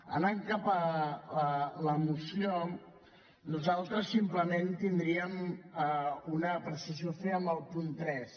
anant cap a la moció nosaltres simplement tindríem una apreciació a fer en el punt tres